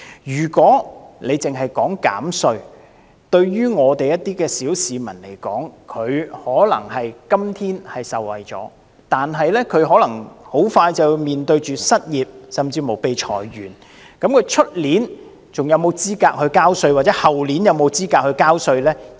如果政府只是提出減稅，對於一些小市民而言，他們今天可能會受惠，但有可能很快便要面對失業，甚至被裁員；他們明年是否還有資格繳稅，或後年是否有資格繳稅呢？